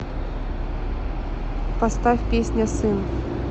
поставь песня сын